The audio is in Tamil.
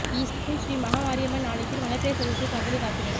ஈசூன் ஸ்ரீ மகா மாரியம்மன் ஆலயத்தில் வளர்பிறை சதுர்த்தி பங்குனி கார்த்திகை